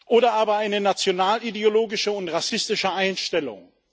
oder aber eine nationalideologische und rassistische Einstellung.